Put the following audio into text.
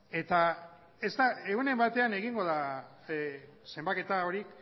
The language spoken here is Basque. eta ez da egunen batean egingo da zenbaketa hori